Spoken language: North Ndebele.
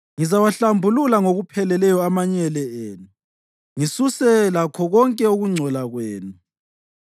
Ngizaphakamisela isandla sami kini; ngizawahlambulula ngokupheleleyo amanyele enu, ngisuse lakho konke ukungcola kwenu.